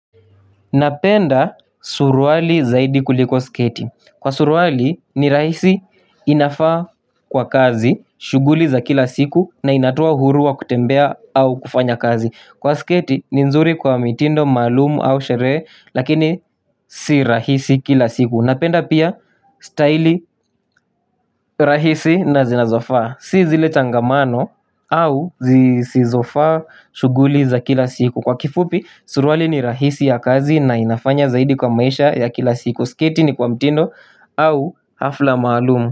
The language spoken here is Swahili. Napenda suruali zaidi kuliko sketi. Kwa suruali ni rahisi inafaa kwa kazi shughuli za kila siku na inatoa uhuru wa kutembea au kufanya kazi. Kwa sketi ni nzuri kwa mitindo maalumu au sherehe lakini si rahisi kila siku. Napenda pia staili rahisi na zinazofaa. Si zile tangamano au zizofaa shughuli za kila siku. Kwa kifupi, suruali ni rahisi ya kazi na inafanya zaidi kwa maisha ya kila siku, sketi ni kwa mtindo au hafla maalumu.